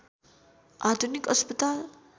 आधुनिक अस्पताल